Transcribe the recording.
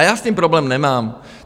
A já s tím problém nemám.